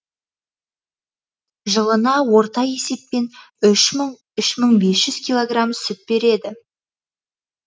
жылына орта есеппен үш мың үш мың бес жүз килограмм сүт береді